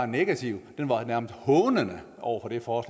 negativ men nærmest hånende over for